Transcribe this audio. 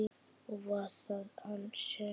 Og var það hann sem?